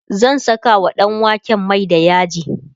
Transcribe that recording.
zan Saka wa ɗanwaken Mai da yaji